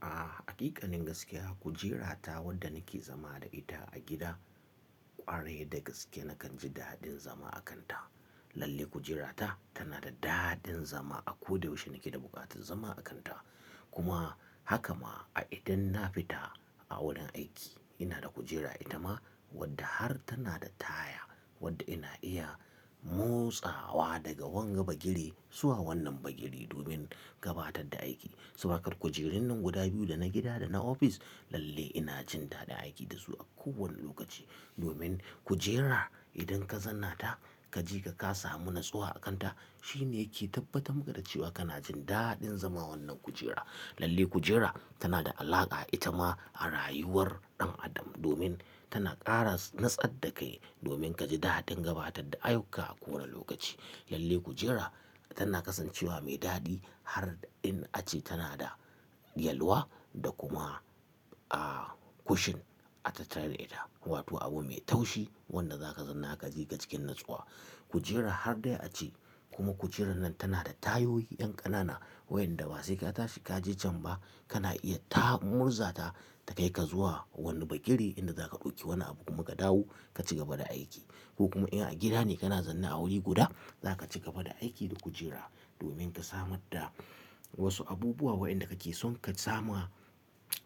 A haqiƙanin gaskiya kujerata wanda nake zama da ita a gida kwarai da gaske nakan ji daɗin zama a kanta. Lalle kujerata tana da daɗin zama a ko da yaushe nake da buƙatar zama a kanta. Kuma haka ma a idan na fita a wurin aiki ina da kujera ita ma wadda har tana da taya wadda ina iya motsawa daga wani bagire zuwa wannan bagire domin gabatar da aiki. Saboda haka kujerun nan guda biyu dana gida dana ofis lalle ina jin daɗin aiki da su a kowane lokaci. Domin kujera idan ka zanna ta kaji ka kasa munatsuwa a kanta shine yake tabbatar da cewa kana jin daɗin zama wannan kujera. Lalle kujera tana da alaka ita ma a rayuwar dan Adam domin tana ƙara natsa da kai domin kaji daɗin gabatar da ayyukka a kowane lokaci. Lalle kujera tana kasancewa mai daɗi har in ace tana da yalwa da kuma, ah, cushion a tattalin ita wato abu mai taushi wanda zaka zanna ka je ka cikin natsuwa. Kujera har dai a ce kuma kujera nan tana da tayoyi yan ƙanana wayanda basai ka tashi ka je can ba kana iya ta murza ta ta kai ka zuwa wani bagire inda zaka ɗauki wani abu kuma ka dawo ka ci gaba da aiki. Ko kuma in a gida ne kana zanna a wuri guda zaka ci gaba da aiki da kujera domin ka samar da wasu abubuwa waɗanda kake son ka sama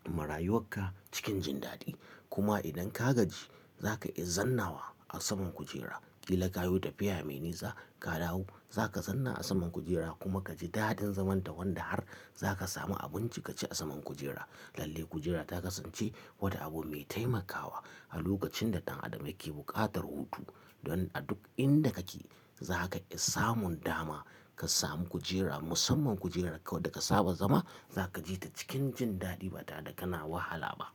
marayuwar ka cikin jindadi. Kuma idan ka gaji zaka iya zannawa a saman kujera, kila kayo tafiya mai nisa ka dawo zaka zanna a saman kujera kuma kaji daɗin zaman ta wanda har zaka samu abinci ka ci a saman kujera. Lalle kujera ta kasance wata abu mai taimakawa a lokacin da ɗan Adam yake buƙatar hutu. Don a duk inda kake za ka iya samun dama ka samu kujera, musamman kujerarka wadda ka saba zama za ka je ta cikin jin daɗi ba tada kana wahala ba.